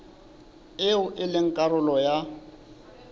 eo e leng karolo ya